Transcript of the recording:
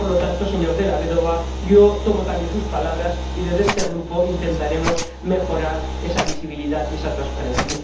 Por lo tanto, señor Della Vedova, yo le tomo también la palabra y, desde este Grupo, intentaremos mejorar esa visibilidad y esa transparencia.